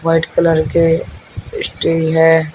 White colour के stage है।